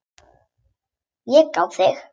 Ég á þig.